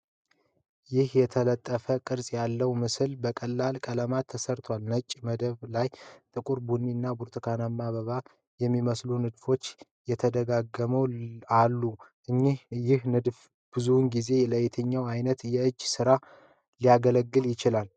ይህ የተጠላለፈ ቅርጽ ያለው ምስል በቀላል ቀለማት ተሠርቷል። ነጭ መደብ ላይ ጥቁር፣ ቡኒ እና ብርቱካንማ አበባ የሚመስሉ ንድፎች ተደጋግመው አሉ። ይህ ንድፍ ብዙውን ጊዜ ለየትኛው ዓይነት የእጅ ጥበብ ሥራ ሊያገለግል ይችላል?